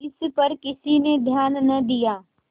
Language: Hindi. इस पर किसी ने ध्यान न दिया